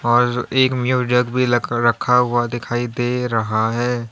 और एक म्यूजिक भी लख रखा हुआ दिखाई दे रहा है।